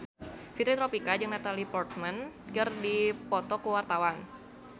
Fitri Tropika jeung Natalie Portman keur dipoto ku wartawan